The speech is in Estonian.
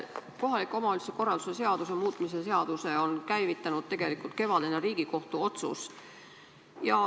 Kohaliku omavalitsuse korralduse seaduse muutmise seaduse on käivitanud tegelikult kevadine Riigikohtu otsus.